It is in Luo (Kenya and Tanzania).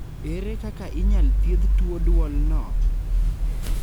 ere kaka inyal thiedh tuo duol no?